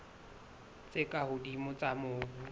tse ka hodimo tsa mobu